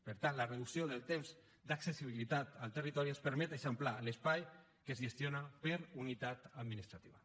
per tant la reducció del temps d’accessibilitat al territori ens permet eixamplar l’espai que es gestiona per unitat administrativa